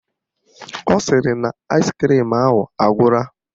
Ọ sịrị na aịskrim ahụ agwụla